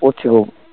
পড়ছে খুব